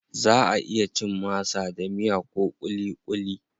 Zaʼa iya cin masa da miya ko kulikuli.